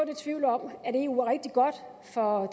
i tvivl om at eu er rigtig godt for